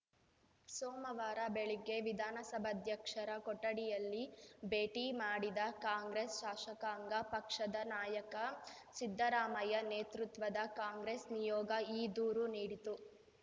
ಸೋಮವಾರ ಬೆಳಿಗ್ಗೆ ವಿಧಾನಸಭಾಧ್ಯಕ್ಷರ ಕೊಠಡಿಯಲ್ಲಿ ಭೇಟಿ ಮಾಡಿದ ಕಾಂಗ್ರೆಸ್‌ ಶಾಸಕಾಂಗ ಪಕ್ಷದ ನಾಯಕ ಸಿದ್ದರಾಮಯ್ಯ ನೇತೃತ್ವದ ಕಾಂಗ್ರೆಸ್‌ ನಿಯೋಗ ಈ ದೂರು ನೀಡಿತು